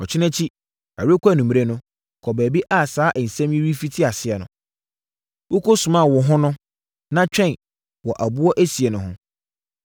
Ɔkyena akyi, ɛrekɔ anwummerɛ no, kɔ baabi a saa nsɛm yi refiti aseɛ no, wokɔsumaa wo ho no, na twɛn wɔ aboɔ esie no ho.